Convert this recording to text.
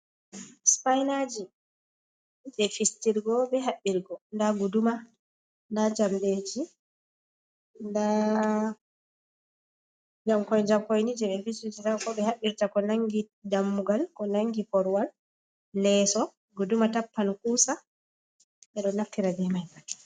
Sipainaaji, jee fisturgo bee haɓɓirgo, daa guduma, daa njamɗeeji, daa njamkoi-njamkoi ni jee ɓe fistirta ko haɓɓirta ko nanngi dammugal ko nanndi korwal, leeso, guduma tappan quusa, ɓe ɗo naftira bee man.